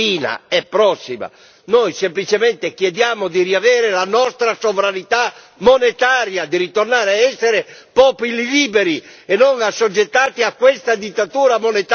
Noi semplicemente chiediamo di riavere la nostra sovranità monetaria, di ritornare ad essere popoli liberi e non assoggettati a questa dittatura monetaria, signor Draghi.